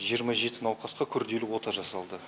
жиырма жеті науқасқа күрделі ота жасалды